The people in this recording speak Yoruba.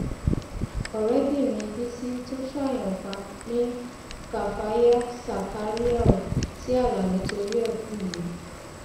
ọrẹbìnrin bísí tó ṣáàyàn pa ni káfáyà sàkáríàù tí alani torí ẹ kú yìí